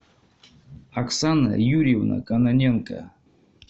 оксана юрьевна кононенко